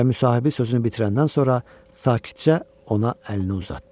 Və müsahibi sözünü bitirəndən sonra sakitcə ona əlini uzatdı.